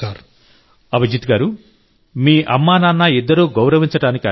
అభిజిత్ గారూ మీ అమ్మానాన్న ఇద్దరూ గౌరవించటానికి అర్హులు